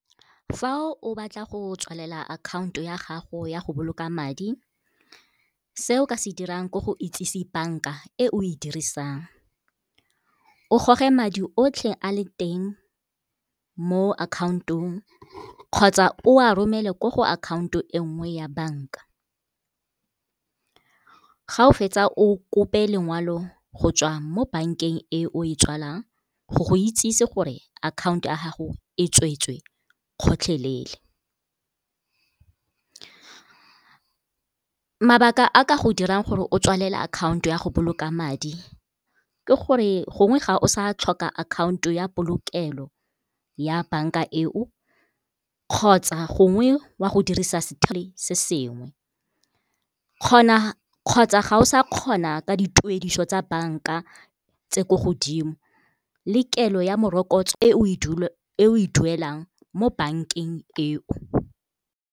Fa o batla go tswalela akhanto ya gago ya go boloka madi se o ka se dirang gore go itsise bank-a e o e dirisang. O goge madi otlhe a le teng mo account-ong kgotsa o a romele ko go akhaonto e nngwe ya bank-a. Ga o fetsa o kope lengoalo go tswa mo bank-eng e o e tswalang go go itsisi gore akhanto ya gago e tsweetswe gotlhelele. Mabaka a ka go dirang gore o tswalele akhaonto ya go boloka madi ke gore gongwe ga o sa tlhoka akhaonto ya polokelo ya bank-a eo, kgotsa gongwe wa go dirisa se sengwe kgotsa ga o sa kgona ka dituediso tsa bank-a tse ko godimo le kelo ya morokotso e o e dulelang mo bank-eng e o.